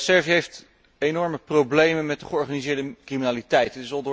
Servië heeft enorme problemen met de georganiseerde criminaliteit.